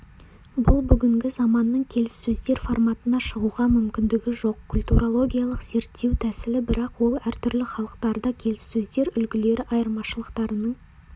бұл бүгінгі заманның келіссөздер форматына шығуға мүмкіндігі жоқ культурологиялық-зерттеу тәсілі бірақ ол әртүрлі халықтарда келіссөздер үлгілері айырмашылықтарының